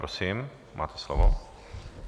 Prosím, máte slovo.